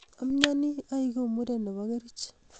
Amyonii aeku muren ne bo keric.